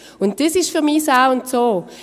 Dies ist für mich das A und O.